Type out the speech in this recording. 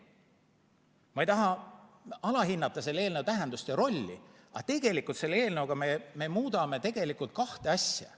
Ma ei taha alahinnata selle eelnõu tähendust ja rolli, aga tegelikult selle eelnõuga me muudame kahte asja.